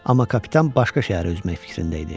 Amma kapitan başqa şəhərə üzmək fikrində idi.